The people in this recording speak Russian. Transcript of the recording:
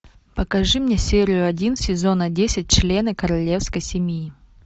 покажи мне серию один сезона десять члены королевской семьи